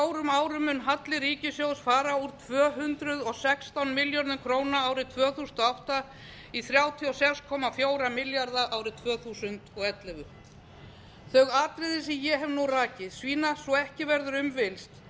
á fjórum árum mun halli ríkissjóðs fara úr tvö hundruð og sextán milljörðum króna árið tvö þúsund og átta í þrjátíu og sex komma fjóra milljarða króna árið tvö þúsund og ellefu þau atriði sem ég hef nú rakið sýna svo ekki verður um villst